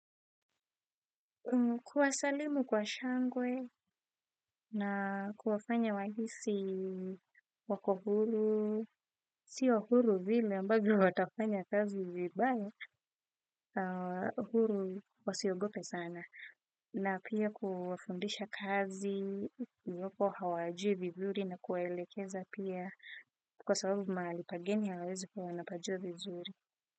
Kuwasalimu kwa shangwe, na kuwafanya wahisi wako huru. Sio huru vile ambavyo watafanya kazi vibaya, huru wasiogope sana. Na pia kuwafundisha kazi iwapo hawajui vizuri na kuwaelekeza pia kwa sababu mahali pageni hawawezi kuwa wanapajua vizuri.